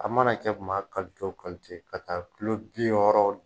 A mana kɛ maa kalite kalite ka ta kulo bi wɔɔrɔ.